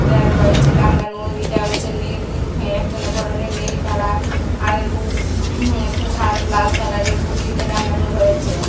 আর রয়েছে টাঙানো ইটা হইছে নীল হ্যা একজনের পরনে নীল কালার আর উ উ হুম লাল কালারের কুর্তিটা টাঙানো রয়েছে।